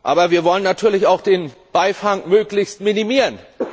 Aber wir wollen natürlich auch den Beifang möglichst minimieren.